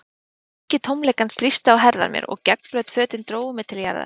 Þungi tómleikans þrýsti á herðar mér, og gegnblaut fötin drógu mig til jarðar.